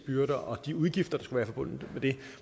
byrder og de udgifter der være forbundet med det